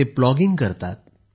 ते प्लॉगींग करतात